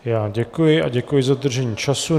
Já děkuji a děkuji za dodržení času.